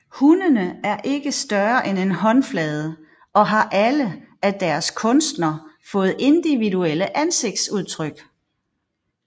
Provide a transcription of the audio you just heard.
Hundene er ikke større end en håndflade og har alle af deres kunstner fået individuelle ansigtsudtryk